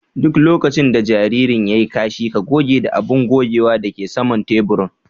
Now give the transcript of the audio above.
Duk lokacin da jaririn ya yi kashi ,ka goge ta da abun gogewa da ke saman taburin.